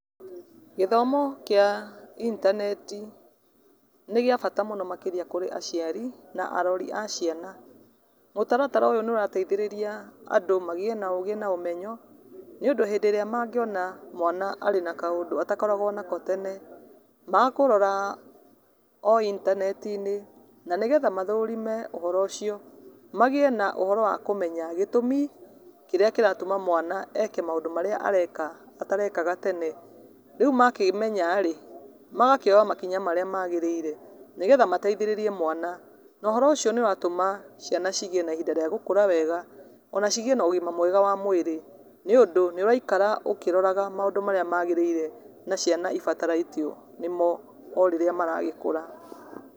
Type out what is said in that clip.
Gĩthomo kĩa intaneti nĩ gĩa bata mũno harĩ aciari na arori a ciana, mũtaratara ũyũ nĩ ũrateithĩria andũ magĩe na ũgĩ na ũmenyo, nĩ ũndũ hĩndĩ ĩrĩa mangĩona mwana ena kaũndũ atakoragwo nako tene ma kũrora o inteneti-inĩ nĩgetha mathorime ũhoro ũcio magĩe na ũhoro wa kũmenya gĩtũmi kĩrĩa kĩratũma mwana eke maũndũ marĩa areka atarekaga tene, rĩu makĩmenya rĩ magakĩoya makinya marĩa magerĩire, nĩgetha ateithĩrĩrie mwana na ũhoro ũcio nĩ ũratũma ciana cigĩe na ihinda rĩa gũkũra wega onacigĩe na ũgima mwega wa mwĩrĩ nĩ ũndũ nĩ ũraikara ũkĩroraga maũndũ marĩa magerĩire na ciana ibatarĩtio nĩmo o rĩrĩa mara gĩkũra.